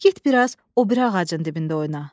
Get biraz o biri ağacın dibində oyna.